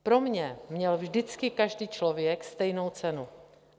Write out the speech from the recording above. Pro mě měl vždycky každý člověk stejnou cenu.